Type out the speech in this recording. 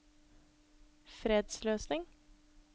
fredsløsning